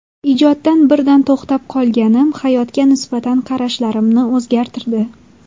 Ijoddan birdan to‘xtab qolganim hayotga nisbatan qarashlarimni o‘zgartirdi.